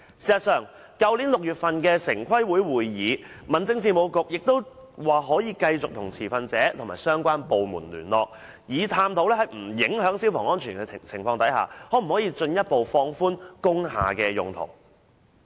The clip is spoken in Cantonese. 事實上，在去年6月的城市規劃委員會會議上，民政事務局亦表示會繼續與持份者和相關部門聯絡，以探討在不影響消防安全的情況下，可否進一步放寬工廈的用途。